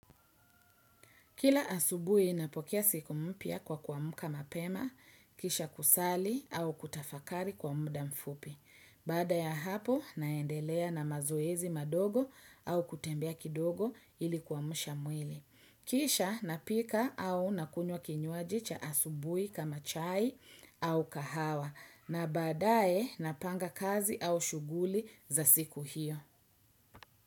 Kila asubuhi inapokuwa siku mpya kwa kwa muda mapema, kisha kusali au kutafakari kwa muda mfupi. Baada ya hapo naendelea na mazoezi madogo au kutembea kidogo ilikuwa mshamwili. Kisha napika au nakunywa kinywaji cha asubuhi kama chai au kahawa na baadae napanga kazi au shughuli za siku hiyo.